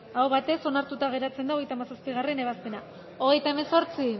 aho batez onartuta geratzen da hogeita hamazazpigarrena ebazpena hogeita hemezortzi